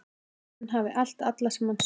Hann hafi elt alla sem hann sá.